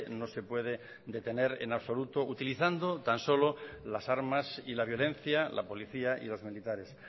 no se puede detener en absoluto utilizando tan solo las armas y la violencia la policía y los militares